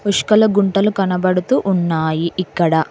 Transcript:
పుష్కల గుంటలు కనబడుతూ ఉన్నాయి ఇక్కడ.